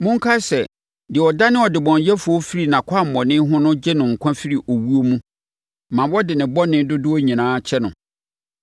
Monkae sɛ, deɛ ɔdane ɔdebɔneyɛfoɔ firi nʼakwammɔne ho no gye no nkwa firi owuo mu ma wɔde ne bɔne dodoɔ no nyinaa kyɛ no.